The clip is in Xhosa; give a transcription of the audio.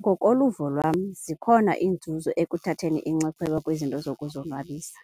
Ngokoluvo lwam zikhona iinzuzo ekuthatheni inxaxheba kwizinto zokuzonwabisa.